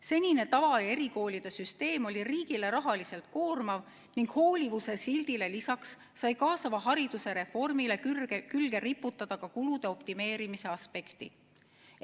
Senine tava- ja erikoolide süsteem oli riigile rahaliselt koormav ning hoolivuse sildile lisaks sai kaasava hariduse reformile külge riputada ka kulude optimeerimise aspekti.